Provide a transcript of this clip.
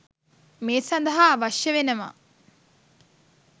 මේ සඳහා අවශ්‍ය වෙනවා.